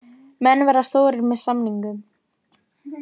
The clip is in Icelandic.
Menn verða stórir með samningum